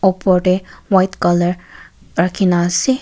opor de white color rakhi na ase.